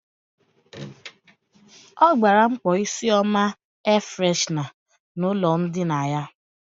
Ọ gbara mkpọ isi ọma air freshna n' ụlọ ndina ya.